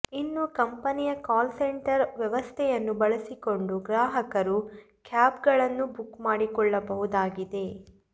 ಇನ್ನು ಕಂಪೆನಿಯ call centre ವ್ಯವಸ್ಥೆಯನ್ನು ಬಳಸಿಕೊಂಡು ಗ್ರಾಹಕರು ಕ್ಯಾಬ್ಗಳನ್ನು ಬುಕ್ ಮಾಡಿಕೊಳ್ಳಬಹುದಾಗಿದೆ